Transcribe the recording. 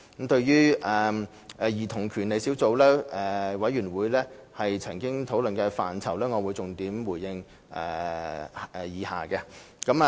對於小組委員會曾討論的範疇，我會重點回應如下。